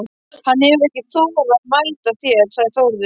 Hann hefur ekki þorað að mæta þér, sagði Þórður.